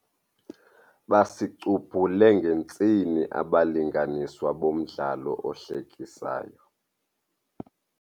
Basicubhule ngentsini abalinganiswa bomdlalo ohlekisayo.